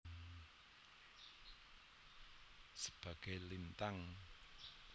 Sebagai Lintang